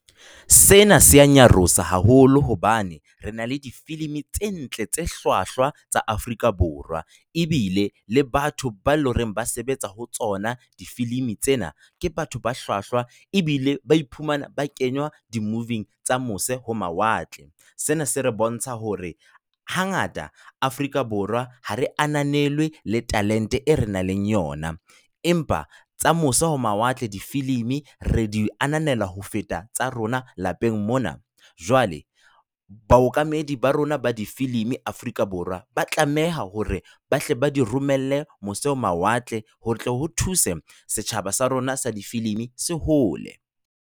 Sena se ya nyarosa haholo hobane re na le difilimi tse ntle tse hlwahlwa tsa Afrika Borwa, ebile le batho ba leng hore ba sebetsa ho tsona difilimi tsena ke batho ba hlwahlwa ebile ba iphumana ba kenywa di-movie-ng tsa mose ho mawatle. Sena se re bontsha hore hangata Afrika Borwa ha re ananelwe le talente e re nang le yona, empa tsa mose ho mawatle difilimi re di ananelwa ho feta tsa rona lapeng mona. Jwale baokamedi ba rona ba difilimi Afrika Borwa, ba tlameha hore bahle ba di romelle mose ho mawatle ho tle ho thuse setjhaba sa rona sa difilimi se hole.